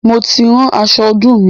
Mo ti rán aṣọ ọdún mi